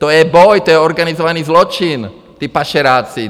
To je boj, to je organizovaný zločin, ti pašeráci.